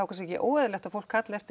ekki óeðlilegt að fólk kalli eftir